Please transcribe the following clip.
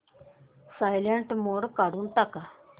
silent mode काढून टाक